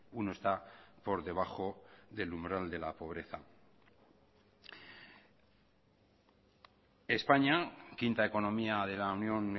uno está por debajo del umbral de la pobreza españa quinta economía de la unión